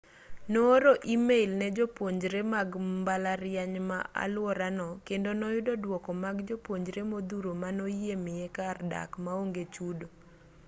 nooro e-mail ne jopuonjre mag mbalariany ma aluorano kendo noyudo dwoko mag jopuonjre modhuro manoyie miye kar dak maonge chudo